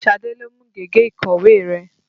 Ṣadé ló mú gègé ìkọ̀wé rẹ.